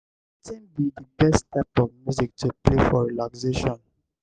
wetin be di best type of music to play for relaxation?